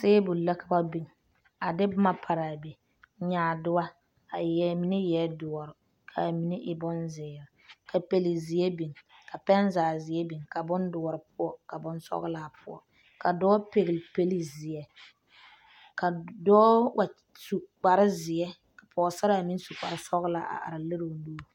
Tabol la ka ba biŋ a de boma pare a be nyaadoɔ mine eɛ doɔre ka mine e bonzeere ka pɛlezeɛ biŋ ka pɛnzagezeɛ biŋ ka bondoɔre poɔ ka bonsɔglaa poɔ ka dɔɔ pɛgle pɛlezeɛ ka dɔɔ wa su kparezeɛ ka pɔgesaraa meŋ su kparesɔglaa a are lere o nuuri.